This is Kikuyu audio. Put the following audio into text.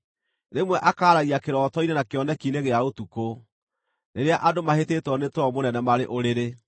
Rĩmwe akaaragia kĩroto-inĩ na kĩoneki-inĩ gĩa ũtukũ, rĩrĩa andũ mahĩtĩtwo nĩ toro mũnene marĩ ũrĩrĩ,